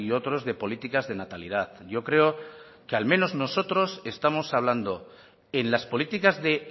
otros de políticas de natalidad yo creo que al menos nosotros estamos hablando en las políticas de